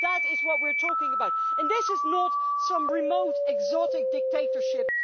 Because that is what we are talking about, and it is not some remote exotic dictatorship.